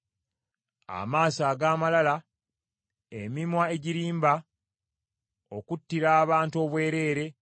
Amaaso ag’amalala, emimwa egirimba, okuttira abantu obwereere;